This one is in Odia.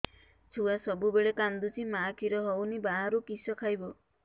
ଛୁଆ ସବୁବେଳେ କାନ୍ଦୁଚି ମା ଖିର ହଉନି ବାହାରୁ କିଷ ଖାଇବ